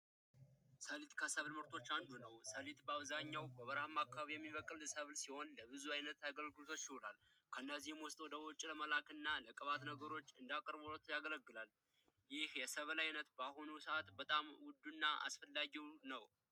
ሰሊጥ ከሰብል ምርቶች ውስጥ አንደኛው ነው፤ ሰሊጥ በአብዛኛው በበረሃማ አከባቢዎች የሚበቅል ሲሆን ለብዙ አይነት አገልግሎቶች ይውላል። ከነዚህም ውስጥ ወደ ውጪ ለመላክ እና ለቅባት ነገሮች እንዳቅርቦት ያገለግላል፤ ይህ የሰብል አይነት በአሁኑ ሰዓት በጣም ውዱና አስፈላጊው ነው።